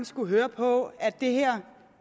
skullet høre på at det her